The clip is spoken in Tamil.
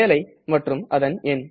வேலை மற்றும் அதன் எண்